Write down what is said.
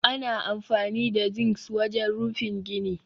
Ana amfani da zincs wajen rufin gini